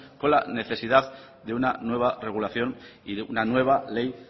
con la necesidad de una nueva regulación y de una nueva ley